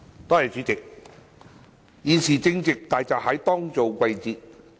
代理主席，現時正值大閘蟹當造季節。